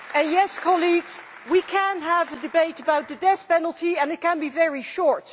Yes, colleagues, we can have a debate about the death penalty and it can be very short.